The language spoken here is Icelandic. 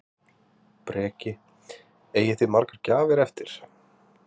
Breki: Eigið þið margar gjafir eftir?